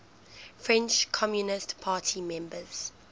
french communist party members